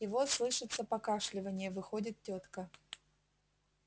и вот слышится покашливанье выходит тётка